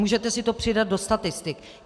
Můžete si to přidat do statistik.